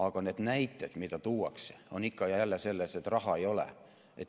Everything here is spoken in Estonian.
Aga need näited, mida tuuakse, on ikka ja jälle selles, et raha ei ole.